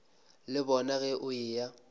le bona ge o eya